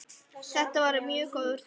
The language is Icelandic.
Þetta var mjög góður fundur.